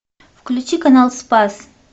включи канал спас